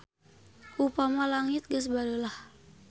Upama langit geus bareulah.